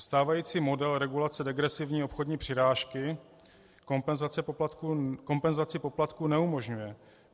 Stávající model regulace degresivní obchodní přirážky kompenzaci poplatků neumožňuje.